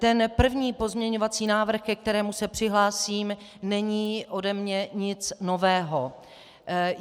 Ten první pozměňovací návrh, ke kterému se přihlásím, není ode mne nic nového.